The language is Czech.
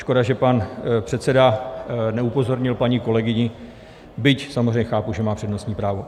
Škoda, že pan předseda neupozornil paní kolegyni, byť samozřejmě chápu, že má přednostní právo.